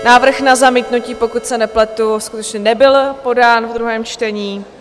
Návrh na zamítnutí, pokud se nepletu, skutečně nebyl podán ve druhém čtení.